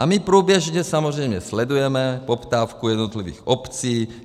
A my průběžně samozřejmě sledujeme poptávku jednotlivých obcí.